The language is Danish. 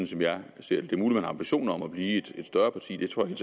som jeg ser det det er muligt man har ambitioner om at blive et større parti det tror jeg